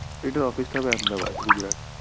এটা office টা হবে Ahmedabad, Gujarat